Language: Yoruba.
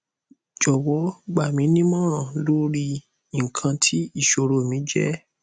jọwọ gba mi nimọran lori ikan ti iṣoro mi je